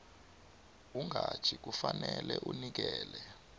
umqatjhi kufanele anikele